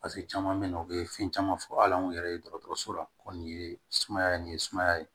paseke caman be na u be fɛn caman fɔ ala an yɛrɛ ye dɔgɔtɔrɔso la ko nin ye sumaya ye nin ye sumaya ye